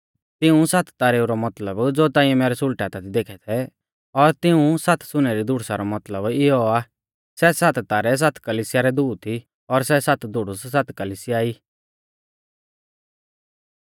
तिऊं सात तारेऊ रौ मतलब ज़ो ताइंऐ मैरै सुल़टै हाथा दी देखै थै और तिऊं सात सुनै री धुड़ुसा रौ मतलब इयौ आ सै सात तारै सात कलिसिया रै दूत ई और सै सात धुड़ुस सात कलिसिया ई